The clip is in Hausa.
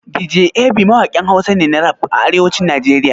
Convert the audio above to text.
Dj Ab mawaƙin Hausa ne na rap a arewacin Najeriya.